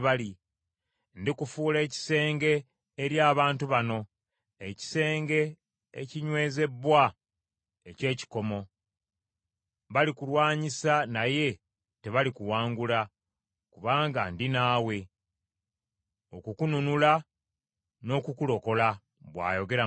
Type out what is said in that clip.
Ndikufuula ekisenge eri abantu bano, ekisenge ekinywezebbwa eky’ekikomo. Balikulwanyisa naye tebalikuwangula, kubanga ndi naawe, okukununula, n’okukulokola,” bw’ayogera Mukama .